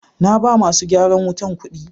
naba masu gyaran wutan kudi.